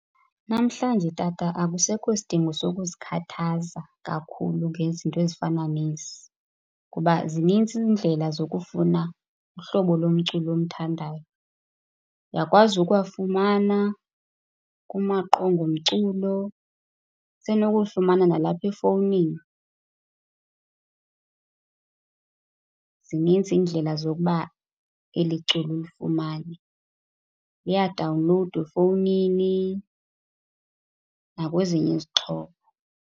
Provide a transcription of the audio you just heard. Namhlanje Tata akusekho sidingo sokuzikhathaza kakhulu ngezinto ezifana nezi ngoba zinintsi iindlela zokufuna uhlobo lomculo omthandayo. Uyakwazi ukuwafumana kumaqonga omculo, usenokuyifumana nalapha efowunini. Zininzi iindlela zokuba eli culo ulifumane, liyadawunlowudwa efowunini nakwezinye izixhobo.